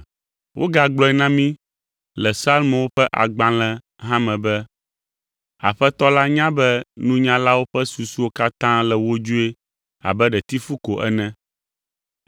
Wogagblɔe na mí le Psalmowo ƒe agbalẽ hã me be, “Aƒetɔ la nya be nunyalawo ƒe susuwo katã le wodzoe abe ɖetifu ko ene.”